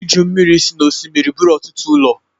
Iju mmiri si n’osimiri buru ọtụtụ ụlọ